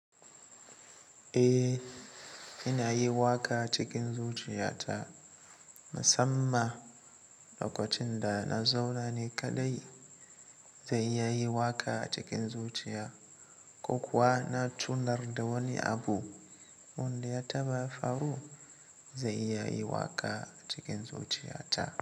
Eh, ina yi waƙa cikin zuciya ta musamman lokacin da na zauna ni kaɗai, zai iya yi waƙa a cikin zuciya. Ko kuwa na tunar da wani abu wanda ya taɓa faru, zai iya yi waƙa cikin zuciya ta.